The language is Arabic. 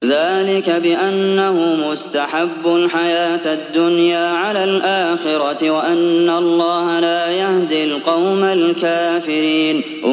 ذَٰلِكَ بِأَنَّهُمُ اسْتَحَبُّوا الْحَيَاةَ الدُّنْيَا عَلَى الْآخِرَةِ وَأَنَّ اللَّهَ لَا يَهْدِي الْقَوْمَ الْكَافِرِينَ